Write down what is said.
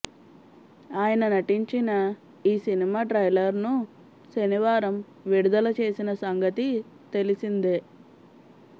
ఆయన నటించిన ఈ సినిమా ట్రైలర్ను శనివారం విడుదల చేసిన సంగతి తెలిసిందే